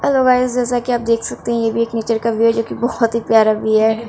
Hello guys जैसा की आप देख सकते है यह भी एक नेचर का व्यू है जो की बोहोत ही प्यारा व्यू है।